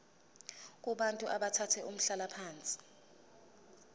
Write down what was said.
kubantu abathathe umhlalaphansi